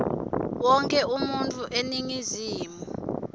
wonkhe umuntfu eningizimu